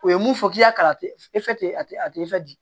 O ye mun fɔ k'i y'a kala a tɛ a tɛ di